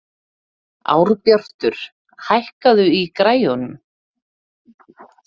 Árbjartur, hækkaðu í græjunum.